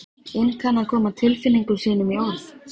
inn kann að koma tilfinningum sínum í orð.